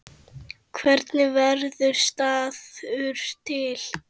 Hvernig verður staður til?